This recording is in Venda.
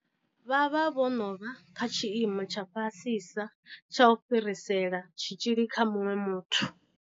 Vha vha vho no vha kha tshiimo tsha fhasisa tsha u fhirisela tshitzhili kha muṅwe muthu.